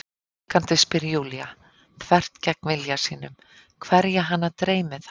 Hikandi spyr Júlía, þvert gegn vilja sínum, hverja hana dreymi þá?